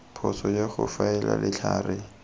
phoso ya go faela letlhare